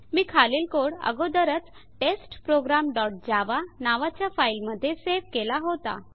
मी खालील कोड अगोदरच test program dot Java नावाच्या फाइल मध्ये सेव केला होता